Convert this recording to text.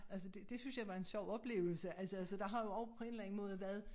Altså det det synes jeg var en sjov oplevelse altså så der har jo også på en eller anden måde været